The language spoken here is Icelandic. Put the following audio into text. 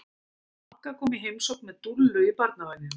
Magga kom í heimsókn með Dúllu í barnavagninum.